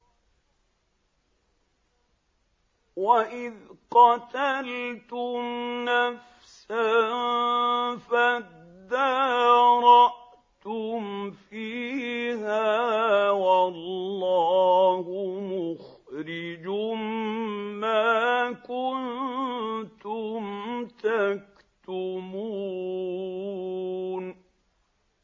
وَإِذْ قَتَلْتُمْ نَفْسًا فَادَّارَأْتُمْ فِيهَا ۖ وَاللَّهُ مُخْرِجٌ مَّا كُنتُمْ تَكْتُمُونَ